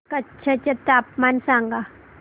कच्छ चे तापमान सांगा